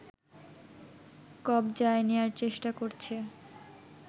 কবজায় নেয়ার চেষ্টা করছে